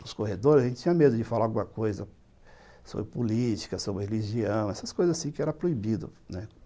Nos corredores, a gente tinha medo de falar alguma coisa sobre política, sobre religião, essas coisas que eram proibidas, né.